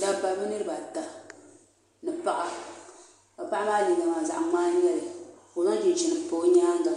dabba bi niraba ata ni paɣa paɣa maa liiga maa zaɣ ŋmaa n nyɛli ka o zaŋ chinchin n pa o nyaanga